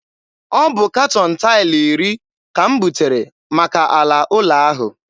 Ọ bụ katọn taịlụ iri ka m butere maka ala ụlọ ahụ.